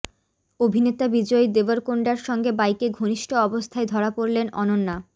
অভিনেতা বিজয় দেবরকোন্ডার সঙ্গে বাইকে ঘনিষ্ঠ অবস্থায় ধরা পড়লেন অনন্যা